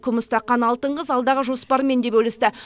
күміс таққан алтын қыз алдағы жоспарымен де бөлісті